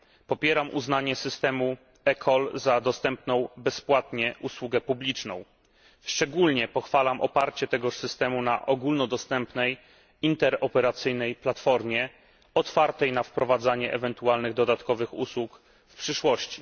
Popieram uznanie systemu eCall za dostępną bezpłatnie usługę publiczną. Szczególnie pochwalam oparcie tegoż systemu na ogólnodostępnej, interoperacyjnej platformie, otwartej na wprowadzanie ewentualnych dodatkowych usług w przyszłości.